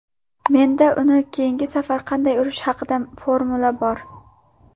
Menda uni keyingi safar qanday urish haqida formula bor.